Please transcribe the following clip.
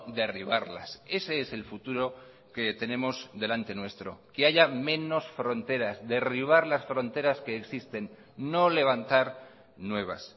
derribarlas ese es el futuro que tenemos delante nuestro que haya menos fronteras derribar las fronteras que existen no levantar nuevas